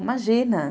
Imagina.